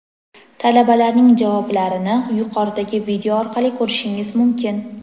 Talabalarning javoblarini yuqoridagi video orqali ko‘rishingiz mumkin.